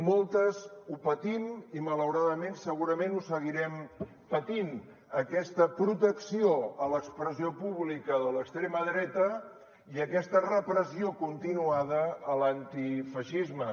moltes ho patim i malauradament segurament ho seguirem patint aquesta protecció a l’expressió pública de l’extrema dreta i aquesta repressió continuada a l’antifeixisme